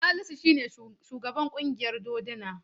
Salisu shi ne shugaban ƙungiyar doduna.